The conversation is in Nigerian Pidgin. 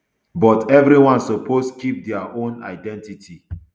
but everyone suppose keep dia own identity